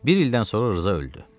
Bir ildən sonra Rza öldü.